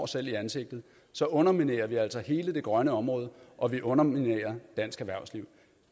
selv i ansigtet så underminerer vi altså hele det grønne område og vi underminerer dansk erhvervsliv